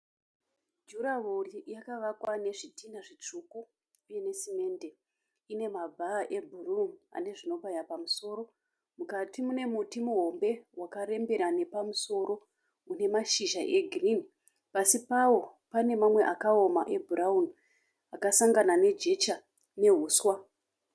Jurahwo yakavakwa nezvidhinha zvitsvuku uye nesimente, ine mabha ebhru ane zvinobaya pamusoro, mukati mune muti muhombe wakarembera nepamusoro unemashizha eghirini, pasi pawo pane mamwe akaoma ebhurauni akasangana nejecha nehuswa.